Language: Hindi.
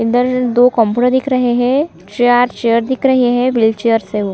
इधर दो कंप्यूटर दिख रहे है छह आठ चेयर दिख रही है व्हील चेयरस है वो--